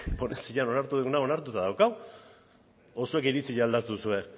onartu duguna onartuta daukagu edo zuek iritzia aldatu duzue